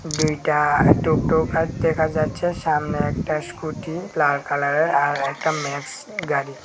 দুইটা টোটো দেখা যাচ্ছে সামনে একটা স্কুটি লাল কালারের আর একটা ম্যাক্স গাড়ি।